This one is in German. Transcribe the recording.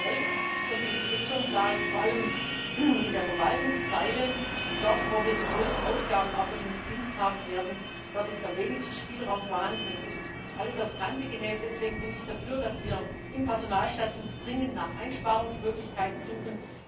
2011 so viel ist jetzt schon klar ist vor allem in der Verwaltungszeile, dort, wo wir die größten Ausgaben auch für diesen Dienst haben werden, am wenigsten Spielraum vorhanden. Es ist alles auf Kante genäht. Deswegen bin ich dafür, dass wir im Personalstatut dringend nach Einsparungsmöglichkeiten suchen.